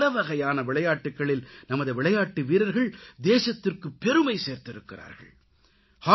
பலவகையான விளையாட்டுக்களில் நமது விளையாட்டு வீரர்கள் தேசத்திற்குப்பெருமை சேர்த்திருக்கிறார்கள்